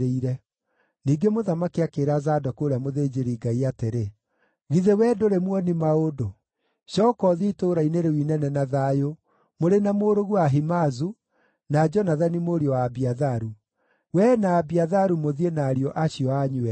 Ningĩ mũthamaki akĩĩra Zadoku ũrĩa mũthĩnjĩri-Ngai atĩrĩ, “Githĩ wee ndũrĩ muoni-maũndũ? Cooka ũthiĩ itũũra-inĩ rĩu inene na thayũ, mũrĩ na mũrũguo Ahimaazu, na Jonathani mũriũ wa Abiatharu. Wee na Abiatharu mũthiĩ na ariũ acio anyu eerĩ.